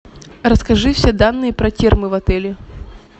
расскажи все данные про термы в отеле